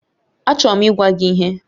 Achọrọ m ịgwa gị ihe